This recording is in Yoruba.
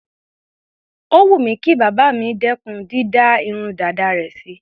Ó wù mí kí bàbá mi dẹ́kùn dídá irun dàda rẹ̀ sí.